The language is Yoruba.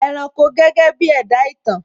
ẹranko gẹ́gẹ́ bí ẹ̀dá ìtàn